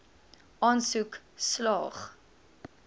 aansoek slaag